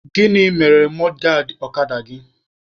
Gịnị mere mọdgaadị ọkada gị?